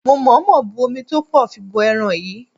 Mo mọ̀ọ́mọ̀ bu omi tó pọ̀ fi bọ ẹran yìí.